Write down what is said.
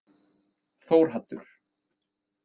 Þórhaddur